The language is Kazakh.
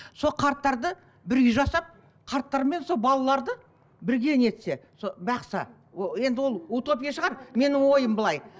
сол қарттарды бір үй жасап қарттар мен сол балаларды бірге не етсе бақса енді ол утопия шығар менің ойым былай